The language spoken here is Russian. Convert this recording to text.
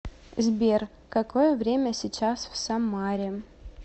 сбер какое время сейчас в самаре